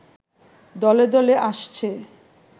দলে দলে আসছে